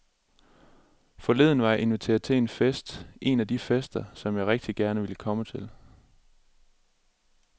Forleden var jeg inviteret til en fest, en af de fester, som jeg rigtig gerne ville komme til.